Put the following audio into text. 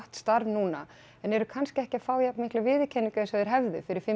starf núna en eru kannski ekki að fá alveg jafn mikla viðurkenningu og þeir hefðu fyrir fimm